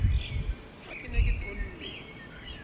ha ke ne ke tonne